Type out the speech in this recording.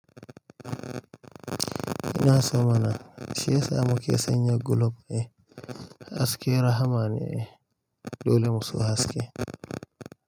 Ina sama nan. Shi yasa muka sanya gulob ne. Haske rahama ne ai, dole mu so haske.